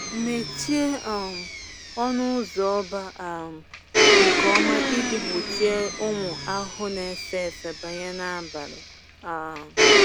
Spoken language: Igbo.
Mechie um ọnụ ụzọ ọba um nke ọma iji gbochie ụmụ ahụhụ na-efe efe banye n’abalị. um